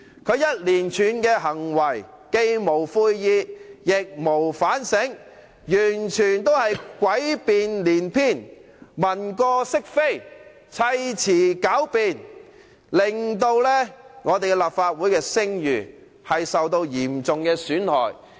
他一連串的行為，既無悔意，亦無反省，完全是詭辯連篇，文過飾非，砌詞狡辯，令立法會的聲譽受到嚴重的損害。